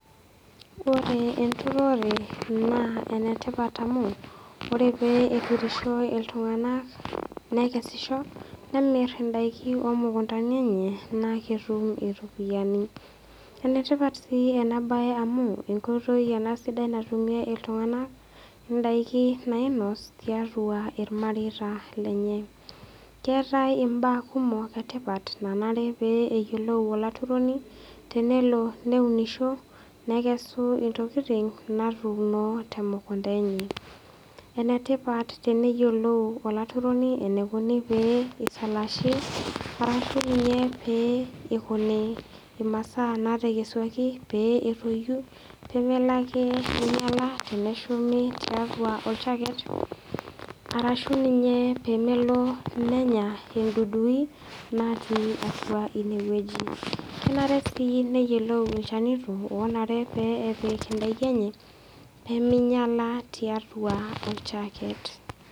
Ore enturore na enetipat amu ore peturisho ltunganak nekesisho nemir ndakin omukundanj enye na ketum iropiyiani enetipat si enabae amu enkoitoi ena sidai natumie ltunganak ndakin nainos tiatua irmareita lenye keetai mbaa etipat nanare peyiolou olaturoni tenelo neunisho nekesu ntokitin natuuni temukunda enye enetipat peisaalasni ashu pikuni masaa petoyio pemelo ake ninyala teneshumi tiatua arashu pemelo nenya indudui natii atua inewueji kenare si neyiolou ilchanito onare pepik ndakin enye peminyala tiatua oljaket.